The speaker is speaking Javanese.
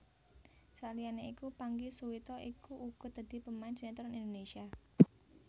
Saliyané iku Pangky Suwito iku uga dadi pemain sinetron Indonésia